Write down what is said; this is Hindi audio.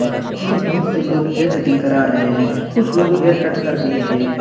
जिसमें बहुत से लोग हेयर कटिंग करा रहे हैं कुछ लोग हेयर कट कर भी रहे हैं।